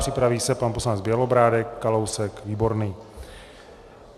Připraví se pan poslanec Bělobrádek, Kalousek, Výborný.